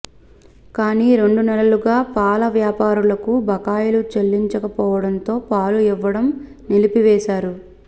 కానీ రెండు నెలలుగా పాల వ్యాపారులకు బకాయిలు చెల్లించకపోవడంతో పాలు ఇవ్వడం నిలిపివేశారు